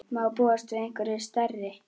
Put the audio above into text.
Má búast við einhverjum stærri?